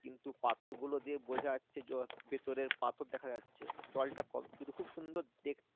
কিন্তু পাথরগুলো দিয়ে বোঝা যাচ্ছে যে ভেতরের পাথর দেখা যাচ্ছে জলটা কম কিন্তু খুব সুন্দর দেখতে